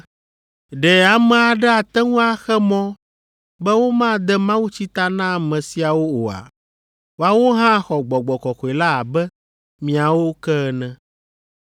“Ɖe ame aɖe ate ŋu axe mɔ be womade mawutsi ta na ame siawo oa? Woawo hã xɔ Gbɔgbɔ Kɔkɔe la abe míawo ke ene.”